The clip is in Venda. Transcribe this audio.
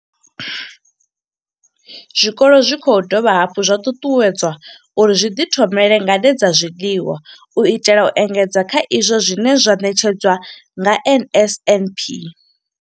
Zwikolo zwi khou dovha hafhu zwa ṱuṱuwedzwa uri zwi ḓithomele ngade dza zwiḽiwa u itela u engedza kha izwo zwine zwa ṋetshedzwa nga NSNP.